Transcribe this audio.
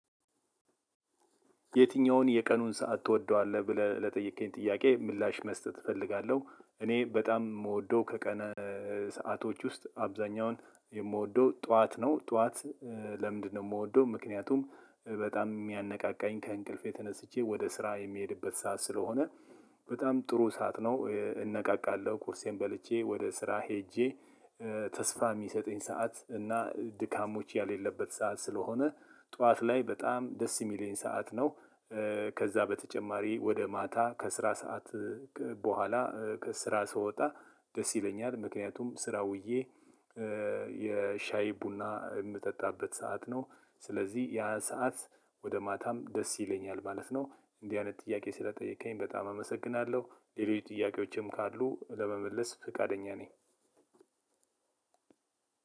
የትኛውን የቀኑን ሰዓት ትወዳለህ ብለው ለጠየቁኝ ጥያቄ ምላሽ መስጠት እፈልጋለሁ እኔ በጣም የምወደው ሰአቶች ውስጥ አብዛኛው የምወደው ጠዋት ነው። ጠዋት ለምንድነው? የምወደው ምክንያቱም በጣም የሚያነቃቃኝ ከእንቅልፌ ተነስቼ ወደ ስራ የምሄድበት ሰዓት ስለሆነ በጣም ጥሩ ሰዓት ነው። እነቃቃለሁ ቁርሴን በልቼ ወደ ስራ ሄጄ ተስፋ የሚሰጠኝ ሰዓት እና ድካም የሌለበት ሰዓት ስለሆነ ጠዋት ላይ በጣም ደስ የሚለኝ ሰዓት ነው። ከዛ በተጨማሪ ወደ ማታ ከስራ ሰዓት በኋላ ከስራ ስወጣ ደስ ይለኛል ምክንያቱም ስራ ውዬ ከዛ በተጨማሪ ወደ ማታ ከስራ ሰዓት በኋላ ከስራ ስወጣ ደስ ይለኛል። ምክንያቱም ስራ ውዬ